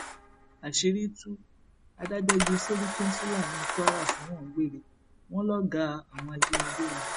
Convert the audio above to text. àṣírí tú adájọ ju sẹríkìnfúlani kwara sẹwọn gbèrè wọn lọgàá àwọn ajìnígbé ni